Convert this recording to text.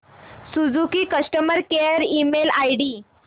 Suzuki customer care email ID